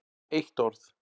Eitt orð